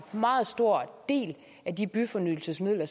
meget stor del af de byfornyelsesmidler